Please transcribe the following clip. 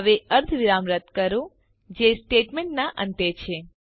હવે અર્ધવિરામ રદ કરો જે સ્ટેટમેન્ટના અંતે છે